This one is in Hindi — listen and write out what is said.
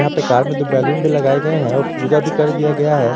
यहां पे कार में दो बैलून भी लगाए गए हैं और पूजा भी कर दिया गया है।